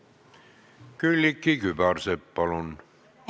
Külliki Kübarsepp, palun!